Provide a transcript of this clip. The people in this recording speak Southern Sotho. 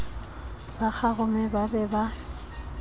ba kgarume ba be ba